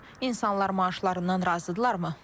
İnsanlar maaşlarından razıdırlar mı?